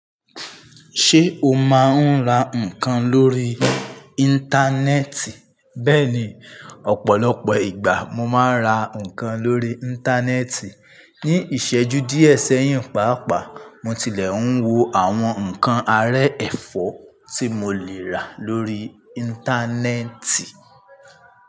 Ṣé o máa ń ra nǹkan lórí Íńtánẹ́ẹ̀tì? Bẹ́ẹ̀ni, ọ̀pọ̀lọpọ̀ ìgbà mo máa ń ra nǹkan lórí Íńtánẹ́ẹ̀tì. Ní ìṣẹ́jú díẹ̀ sẹ́yìn pàápàá, mo tilẹ̀ ń wo àwọn nǹkan ará ẹ̀fọ́ tí mo lè rà lórí Íńtánẹ́ẹ̀tì.